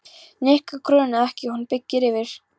Nikka grunaði ekki að hún byggi yfir.